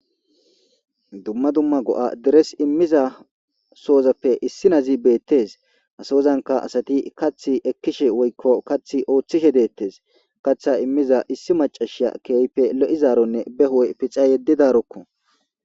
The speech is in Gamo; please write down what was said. dumma dumma go7a deres immiza soozappe issi nazi beettes asoozanka asati kath ekkishe woykko kath ooththishe deettes katha immiza issi macashia keeype lo7izaaronne behoy pica yeddidarokko